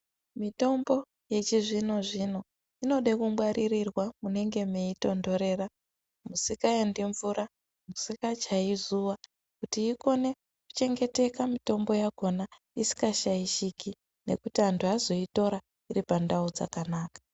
Mitombo yechizvino zvino inoda kungwarirwa munenge meitonhorera musingaendi mvura pasingachai zuva kuti ikone kuchengeteka mitombo yakona isika shaishiki nekuti antu azoitora iri pandau dzakanaka.